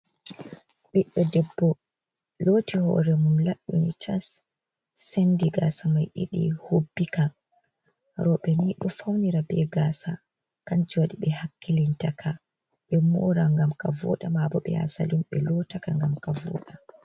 Ɓiɗɗo debbo loti hoore mum laɓɓini tas, sendi gaasa mai ɗiɗi hubbi ka. Rooɓe ni ɗo faunira be gaasa kanju waɗi ɓe hakkilinta kaa ɓe moora ngam ka vooɗa mabo ɓe ya salun ɓe lotaka ngam ka vooɗa.